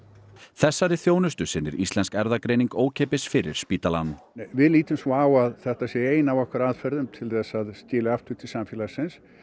þessari þjónustu sinnir Íslensk erfðagreining ókeypis fyrir spítalann við lítum svo á að þetta sé ein af okkar aðferðum til þess að skila aftur til samfélagsins